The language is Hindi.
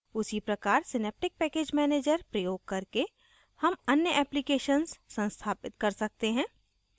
उसी प्रकार synaptic package manager प्रयोग करके हम अन्य applications संस्थापित कर सकते हैं